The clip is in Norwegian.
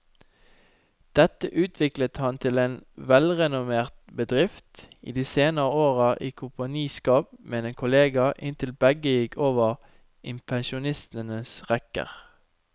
Dette utviklet han til en velrenommert bedrift, i de senere år i kompaniskap med en kollega inntil begge gikk over i pensjonistenes rekker.